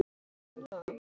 Hugi Jónsson syngur.